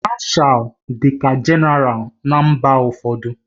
Mashalu dịka Jenéral na mba ụfọdụ.